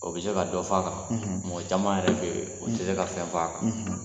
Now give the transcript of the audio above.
O bɛ se ka dɔ f'a kan mɔgɔ caman yɛrɛ bɛ ye o tɛ se ka fɛn f'a kan dɛ.